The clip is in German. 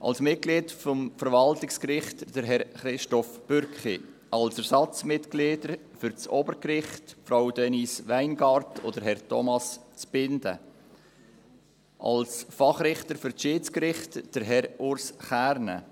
Als Mitglied vom Verwaltungsgericht Herr Christoph Bürki, als Ersatzmitglied für das Obergericht Frau Denise Weingart und Herr Thomas Zbinden, als Fachrichter für das Schiedsgericht Herr Urs Kernen,